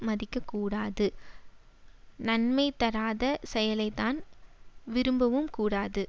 மதிக்கக் கூடாது நன்மை தராத செயலைத்தான் விரும்பவும் கூடாது